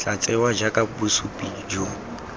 tla tsewa jaaka bosupi jo